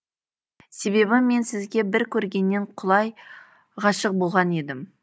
себебі мен сізге бір көргеннен құлай ғашық болған едім